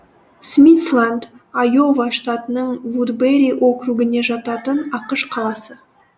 смитсланд айова штатының вудбери округіне жататын ақш қаласы